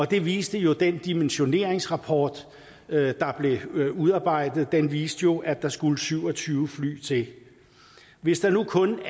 det viste jo den dimensioneringsrapport der blev udarbejdet den viste jo at der skulle syv og tyve fly til hvis der nu kun